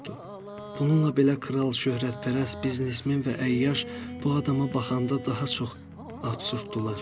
Bununla belə kral, şöhrətpərəst, biznesmen və əyyaş bu adama baxanda daha çox absurddular.